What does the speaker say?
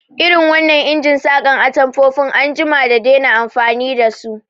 Irin wannan injin saƙa atamfofin an jima da dena amfani dasu